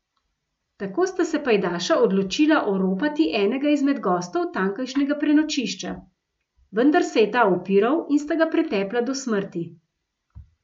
Tako sta se pajdaša odločila oropati enega izmed gostov tamkajšnjega prenočišča, vendar se je ta upiral in sta ga pretepla do smrti.